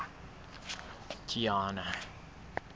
kiana